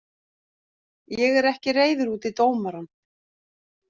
Ég er ekki reiður út í dómarann.